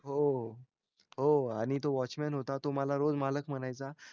हो हो आणि तो वॉचमन होता तो मला रोज मालक म्हणायचा